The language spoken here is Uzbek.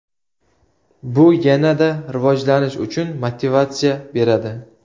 Bu yanada rivojlanish uchun motivatsiya beradi.